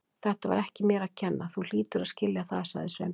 Þetta var ekki mér að kenna, þú hlýtur að skilja það- sagði Sveinbjörn.